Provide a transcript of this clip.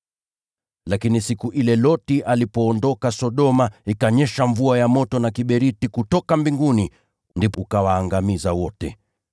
Lakini siku ile Loti alipoondoka Sodoma, ikanyesha mvua ya moto na kiberiti kutoka mbinguni ukawaangamiza wote.